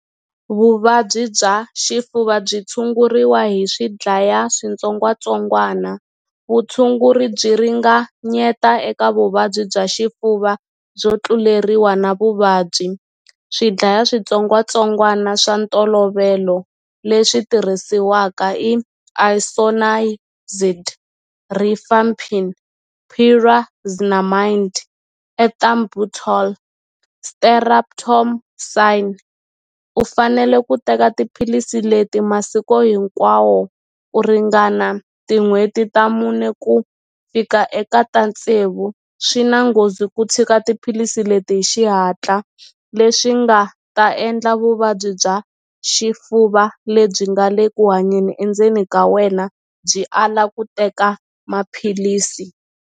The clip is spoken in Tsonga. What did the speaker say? Vuvabyi bya xifuva byi tshunguriwa hi swi dlaya switsongwatsongwana vutshunguri byi ringanyeta eka vuvabyi bya xifuva byo tluleriwa na vuvabyi swi dlaya switsongwatsongwana swa ntolovelo leswi tirhisiwaka i Isoniazid, Rifampicin, Pyrazinamide, Ethambutol, Streptomycin u fanele ku teka tiphilisi leti masiko hinkwawo ku ringana tin'hweti ta mune ku fika eka ta tsevu swi na nghozi ku tshika tiphilisi leti hi xihatla leswi nga ta endla vuvabyi bya xifuva lebyi nga le ku hanyeni endzeni ka wena byi ala ku teka maphilisi.